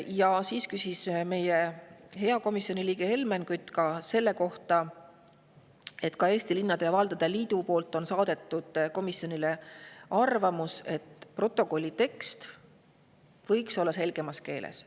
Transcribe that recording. Ja siis küsis meie hea komisjoni liige Helmen Kütt selle kohta, et ka Eesti Linnade ja Valdade Liidu poolt on saadetud komisjonile arvamus, et protokolli tekst võiks olla selgemas keeles.